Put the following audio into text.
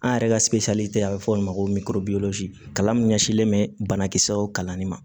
An yɛrɛ ka a bɛ fɔ o ma ko kalan min ɲɛsinlen bɛ banakisɛ kalanni ma